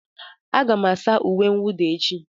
Aga m asa uwe mwụda echi.